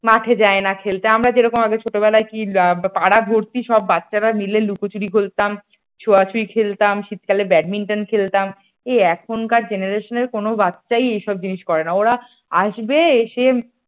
মাঠে যায় না খেলতে আমরা যেরকম আগে ছোটবেলায় কি আমারা পাড়া ভর্তি সব বাচ্চারা মিলে লুকোচুরি খেলতাম ছোঁয়া ছুয়ি খেলতাম শীতকালে ব্যাডমিন্টন খেলতাম এই এখনকার generation কোন বাচ্চাই এইসব জিনিস করে না ওরা আসবে এসে